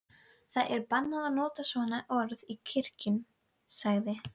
Það er bannað að nota svona orð í kirkjum, sagði